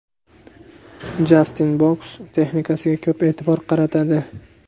Jastin boks texnikasiga ko‘p e’tibor qaratadi.